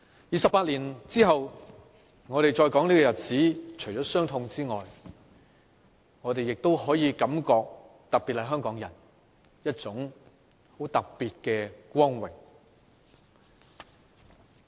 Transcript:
二十八年後，我們再說這個日子時，除了傷痛之外，我們作為香港人，亦感覺到一份很特別的光榮。